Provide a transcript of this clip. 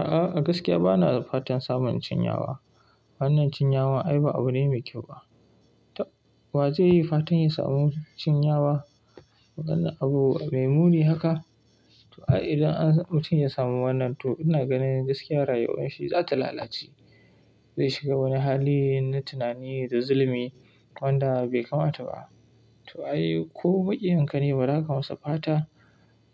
A'a, gaskiya ba na fatan samun cinyawa. Wannan cinyawa ai ba abu dai mai kyau ba. Wa zai yi fatan ya samu cinyawa? Wannan abu mai muni haka. To ai, idan mutum ya samu wannan, to ina ganin gaskiya rayuwar shi za ta lalace. Zai shiga wani hali na tunani da zulumi wanda bai kamata ba. To ai, ko baƙi in ka nema, ba za ka masa fata